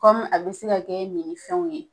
a be se ka kɛ nini fɛnw ye.